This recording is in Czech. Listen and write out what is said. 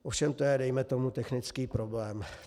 Ovšem to je, dejme tomu, technický problém.